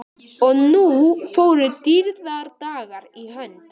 Og nú fóru dýrðardagar í hönd.